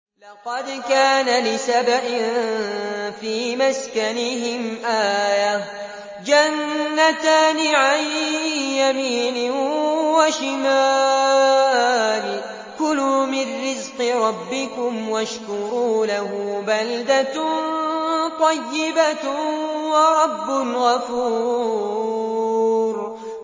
لَقَدْ كَانَ لِسَبَإٍ فِي مَسْكَنِهِمْ آيَةٌ ۖ جَنَّتَانِ عَن يَمِينٍ وَشِمَالٍ ۖ كُلُوا مِن رِّزْقِ رَبِّكُمْ وَاشْكُرُوا لَهُ ۚ بَلْدَةٌ طَيِّبَةٌ وَرَبٌّ غَفُورٌ